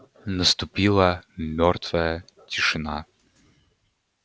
наступила мёртвая тишина